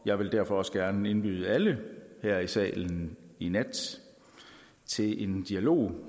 jeg vil derfor også gerne indbyde alle her i salen i nat til en dialog